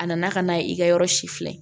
A nana ka na i ka yɔrɔ si filɛ